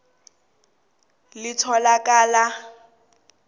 lelo litholakala emnyangweni